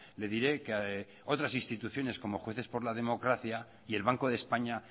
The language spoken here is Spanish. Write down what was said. le diré que otras instituciones como jueces por la democracia y el banco de españa